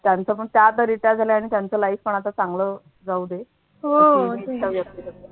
त्यांच पण त्या आता retired झाल्या आणि त्यांचं life पण आता चांगलं जाऊ दे